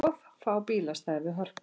Of fá bílastæði við Hörpu